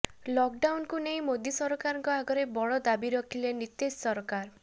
lock ଡାଉନକୁ ନେଇ ମୋଦି ସରକାରଙ୍କ ଆଗରେ ବଡ଼ ଦାବି ରଖିଲେ ନୀତିଶ ସରକାର